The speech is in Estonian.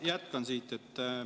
Ma jätkan siit.